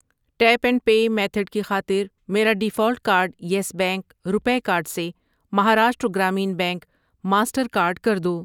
Tape and pay method کی خاطر میرا default card Yes Bank, RuPay card سے Maharashtra Gramin bank, Mastercard کر دو۔